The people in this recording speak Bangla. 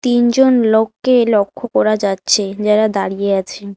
তিনজন লোককে লক্ষ্য করা যাচ্ছে যারা দাঁড়িয়ে আছেন।